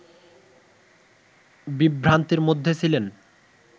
বিভ্রান্তির মধ্যে ছিলেন